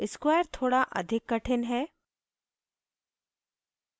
square थोड़ा अधिक कठिन है